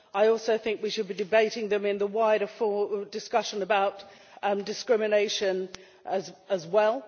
I also think we should be debating them in the wider discussion about discrimination as well.